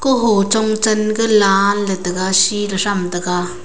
hochong chen ga la tham taiga.